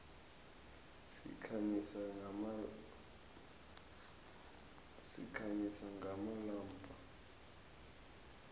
sikhanyisa ngamalombha